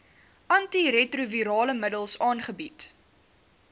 antiretrovirale middels aangebied